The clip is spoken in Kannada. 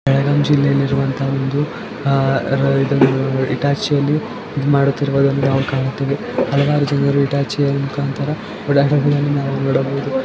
ಬೆಳಗಾಂ ಜಿಲ್ಲೆಹಳ್ಳಿ ಇರುವಂತ ಒಂದು ಅಹ್ ರ ಇದನ್ನು ನೋಡಲು ಹಿಟಾಚಿಯಲ್ಲಿ ಇದು ಮಾಡುತ್ತಿರುವುದನ್ನು ನಾವು ಕಾಣುತ್ತೇವೆ ಹಲವಾರು ಜನರು ಹಿಟಾಚಿಯಲ್ಲಿ ಮುಕಾಂತರ ಬೆಳಗುಂ ಅನ್ನು ನೋಡಬಹುದು.